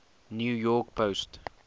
new york post